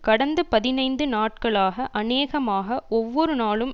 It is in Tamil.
கடந்த பதினைந்து நாட்களாக அநேகமாக ஒவ்வொரு நாளும்